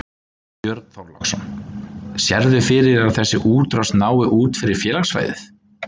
Björn Þorláksson: Sérðu fyrir þér að þessi útrás nái út fyrir félagssvæðið?